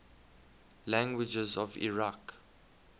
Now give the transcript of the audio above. languages of iraq